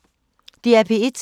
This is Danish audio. DR P1